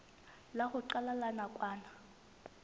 la ho qala la nakwana